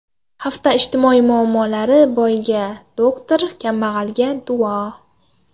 Hafta ijtimoiy muammolari: Boyga – doktor, kambag‘alga – duo.